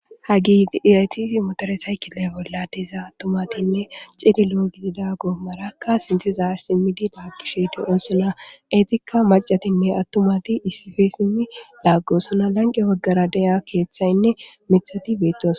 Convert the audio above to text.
ha git iyaytisi motoresaykile bolladiza attumatinne ciniloo gidida go marakka sintiza simmidi laagishe de7onsona eetikka macatinne attumati issife simmi laaggosona lanqe waggara deya keeththaynne mithati beettos